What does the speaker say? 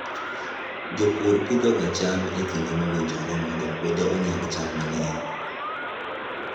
Japur pidhoga cham e kinde mowinjore mondo puodho onyag cham mang'eny.